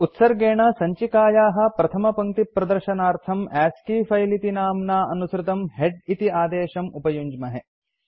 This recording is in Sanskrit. उत्सर्गेण सञ्चिकायाः प्रथमदशपङ्क्तिप्रदर्शनार्थं अस्की फिले इति नाम्ना अनुसृतम् हेड इति आदेशं उपयुञ्ज्महे